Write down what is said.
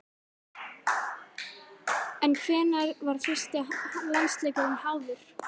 En hvenær var fyrsti landsleikurinn háður?